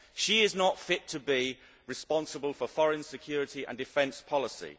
She is not fit to be responsible for foreign security and defence policy.